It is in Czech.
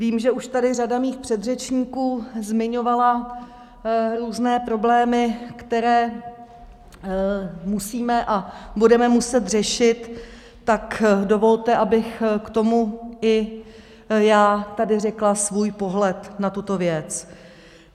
Vím, že tady už řada mých předřečníků zmiňovala různé problémy, které musíme a budeme muset řešit, tak dovolte, abych k tomu i já tady řekla svůj pohled na tuto věc.